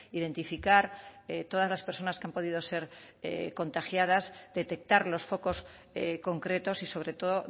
identificar todas las personas que han podido ser contagiadas detectar los focos concretos y sobre todo